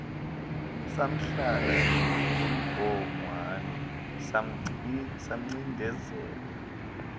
samhlala ngobhongwana samcindezela